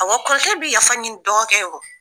Awɔ kɔrɔkɛ bɛ yafa ɲini dɔgɔ yɔrɔ.